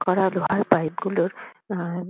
করা লোহার পাইপ -গুলোর অ্যা--